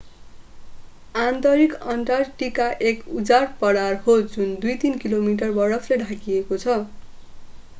आन्तरिक अन्टार्कटिका एक उजाड पठार हो जुन 2-3 किलोमिटर बरफले ढाकिएको छ